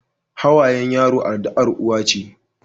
Hawayen yaro addu'ar uwa ce.